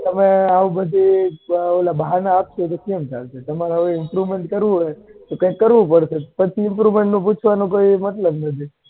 તમે આવા બધા બહાના આપસો તો કેમનું ચાલશે તમારે આવુ improvement કરવું હોય તો કઈ કરવું પડશે પછી improvement નું પૂછવાનો કોઈ મતલબ નઈ.